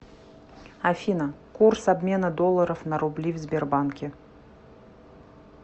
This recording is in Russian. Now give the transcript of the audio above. афина курс обмена долларов на рубли в сбербанке